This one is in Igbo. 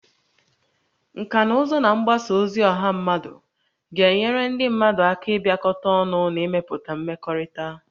Nkà na ụzụ na mgbasa ozi ọha mmadụ ga-enyere ndị mmadụ aka ịbịakọta ọnụ na ịmepụta mmekọrịta